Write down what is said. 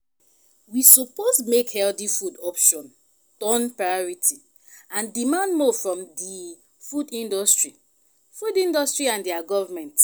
we suppose make healthy food option turn priority and demand more from di food industry food industry and di government.